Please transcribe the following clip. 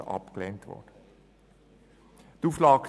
Die Auflage 3 gemäss dem Antrag